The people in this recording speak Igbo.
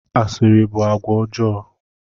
Asịrị bụ àgwà ọjọọ.